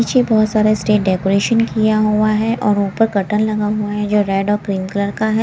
नीचे बहुत सारा स्टेट डेकोरेशन किया हुआ है और ऊपर कर्टन लगा हुआ है जो रेड और ग्रीन कलर का है।